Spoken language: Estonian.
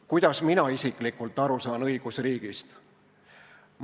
Kuidas mina saan aru õigusriigist?